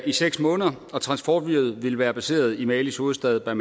i seks måneder og transportflyet vil være placeret i malis hovedstad